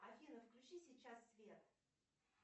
афина включи сейчас свет